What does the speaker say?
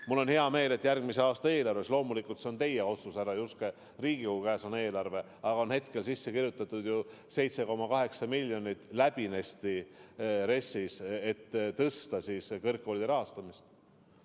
Mul on hea meel, et järgmise aasta eelarvesse – loomulikult on see teie otsus, härra Juske, eelarve on Riigikogu käes – on hetkel sisse kirjutatud 7,8 miljonit, et suurendada kõrgkoolide rahastamist.